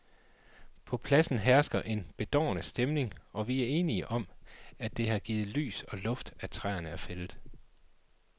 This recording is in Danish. På pladsen hersker en bedårende stemning, og vi er enige om, at det har givet lys og luft, at træerne er fældet.